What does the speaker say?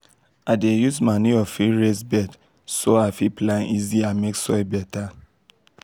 i dey use manure fill raised bed so i fit plant easy and make soil better.